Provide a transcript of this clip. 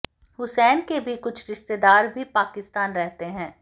हुसैन के भी कुछ रिश्तेदार भी पाकिस्तान रहते है